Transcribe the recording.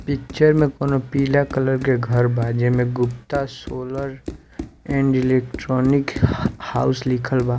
picture में कोनो पीला कलर के घर बा जेमे गुप्ता हाउस लिखल बा--